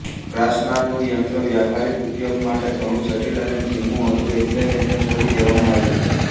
ક્રાસ્નરનું યંત્ર વ્યહવારિક ઉપયોગ માટે ઘણું જટિલ અને ધીમું હતું એટલે એને છોડી દેવામાં આવ્યું